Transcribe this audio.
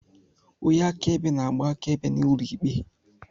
Onye akaebe na-agba akaebe n'ụlọ ikpe.